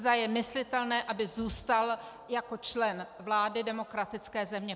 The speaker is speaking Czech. Zda je myslitelné, aby zůstal jako člen vlády demokratické země.